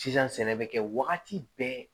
Sisan sɛnɛ bɛ kɛ wagati bɛɛ